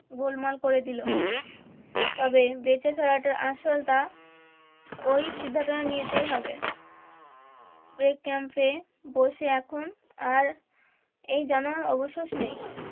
গোলমাল করে দিলো তবে বেঁচে ফেরাটা আসল তা ওই সিদ্ধান্ত নিতেই হবে break camp এ বসে এখন আর এই যেন অবশেষ নেই